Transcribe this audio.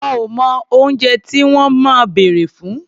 Wọn ò mọ oúnjẹ tí wọ́n máa bèrè fún.